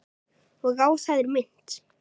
Og á það er minnt.